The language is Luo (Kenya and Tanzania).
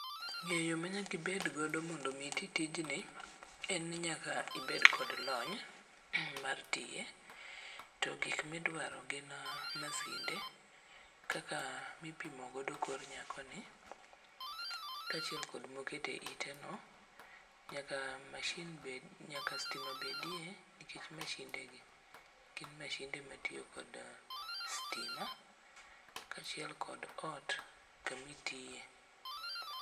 Ng'eyo manyaka ibedgodo mondo omi iti tijni, en ni nyaka ibed kod lony mar tiye, to gik midwaro gin masinde kaka mipimo godo kor nyakoni, kaachiel kod mokete iteno. Nyaka stima bedie nikech mashinde gi gin mashinde matiyo kod stima kaachiel kod ot kamitiye.